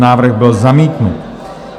Návrh byl zamítnut.